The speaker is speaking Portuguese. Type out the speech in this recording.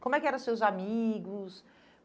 Como é que eram seus amigos?